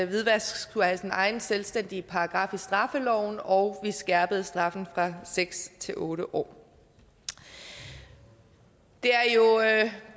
hvidvask skulle have sin egen selvstændige paragraf i straffeloven og vi skærpede straffen fra seks til otte år det er jo